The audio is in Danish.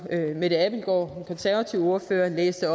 mette abildgaard den konservative ordfører læste